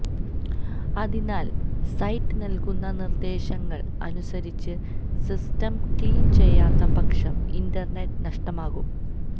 അതിനാല് സൈറ്റ് നല്കുന്ന നിര്ദ്ദേശങ്ങള് അനുസരിച്ച് സിസ്റ്റം ക്ലീന് ചെയ്യാത്ത പക്ഷം ഇന്റര്നെറ്റ് നഷ്ടമാകും